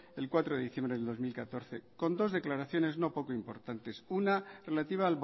el cuatro de diciembre de dos mil catorce con dos declaraciones no poco importantes una relativa